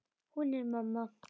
Hún er mamma.